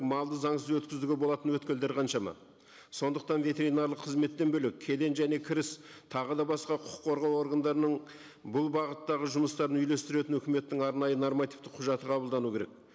малды заңсыз өткізуге болатын қаншама сондықтан ветеринарлық қызметтен бөлек кеден және кіріс тағы да басқа құқық қорғау органдарының бұл бағыттағы жұмыстарын үйлестіретін өкіметтің арнайы нормативті құжаты қабылдану керек